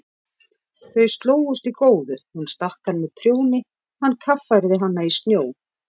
Þau slógust í góðu, hún stakk hann með prjóni, hann kaffærði hana í snjó.